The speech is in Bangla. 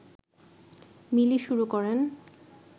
মিলি শুরু করেন